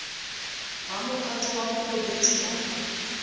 ba mophato wa borobedi ba